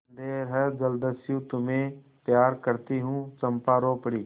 अंधेर है जलदस्यु तुम्हें प्यार करती हूँ चंपा रो पड़ी